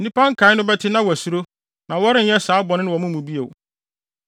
Nnipa nkae no bɛte na wɔasuro, na wɔrenyɛ saa bɔne no wɔ mo mu bio.